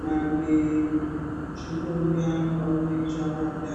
mamwe zvinouya pauri zvawanda.